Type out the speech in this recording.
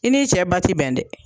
I n'i cɛ ba ti bɛn dɛ.